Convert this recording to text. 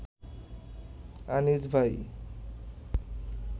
আনিস ভাই